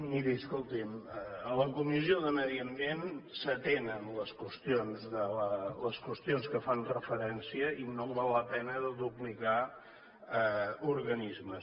miri escolti’m a la comissió de medi ambient s’atenen les qüestions que fan referència i no val la pena de duplicar organismes